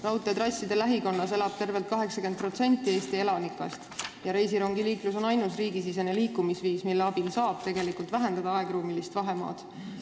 Raudteetrasside lähikonnas elab tervelt 80% Eesti elanikest ja reisirongiliiklus on ainus riigisisene liikumisviis, mille abil saab tegelikult vähendada aegruumilist vahemaad.